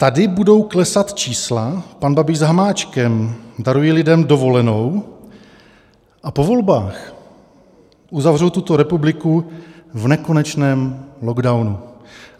Tady budou klesat čísla, pan Babiš s Hamáčkem darují lidem dovolenou a po volbách uzavřou tuto republiku v nekonečném lockdownu.